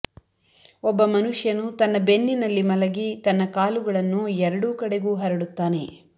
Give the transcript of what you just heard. ಒಬ್ಬ ಮನುಷ್ಯನು ತನ್ನ ಬೆನ್ನಿನಲ್ಲಿ ಮಲಗಿ ತನ್ನ ಕಾಲುಗಳನ್ನು ಎರಡೂ ಕಡೆಗೂ ಹರಡುತ್ತಾನೆ